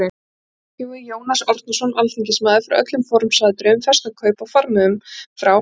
Gengum við Jónas Árnason alþingismaður frá öllum formsatriðum, festum kaup á farmiðum frá